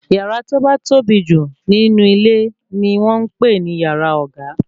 Yàrá tí ó ba tóbi jù nínú ilé ni wọ́n ń pè ní yàrá ọ̀gá